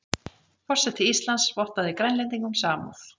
Forseti Íslands vottaði Grænlendingum samúð